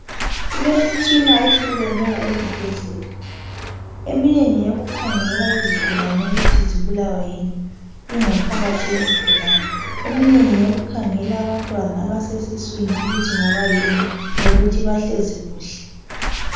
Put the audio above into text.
Kulemitshina ehlukeneyo ezibhedlela eminye ngeyokukhangela izigulani ukuthi zibulawa yini ingaphakathi yezigulani. Eminye ngeyokukhangela abantwana abasesiswini ukuthi ngabayini lokuthi bahlezi kuhle.